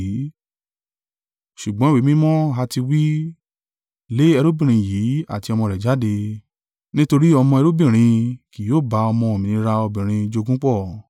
Ṣùgbọ́n ìwé mímọ́ ha ti wí, “Lé ẹrúbìnrin yìí àti ọmọ rẹ̀ jáde, nítorí ọmọ ẹrúbìnrin kì yóò bá ọmọ òmìnira obìnrin jogún pọ̀.”